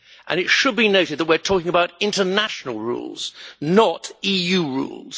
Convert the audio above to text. It should be noted that we are talking about international rules, not EU rules.